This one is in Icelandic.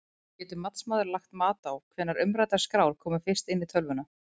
Getur matsmaður lagt mat á hvenær umræddar skrár komu fyrst inn í tölvuna?